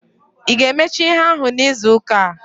Ị ga-emecha ihe ahụ n'izuuka a?